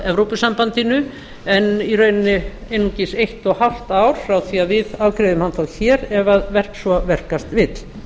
evrópusambandinu en í rauninni einungis eitt og hálft ár frá því að við afgreiðum hann þó hér ef svo verkast vill